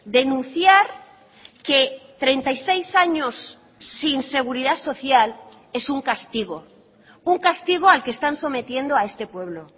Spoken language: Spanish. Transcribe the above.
denunciar que treinta y seis años sin seguridad social es un castigo un castigo al que están sometiendo a este pueblo